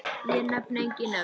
Ég nefni engin nöfn.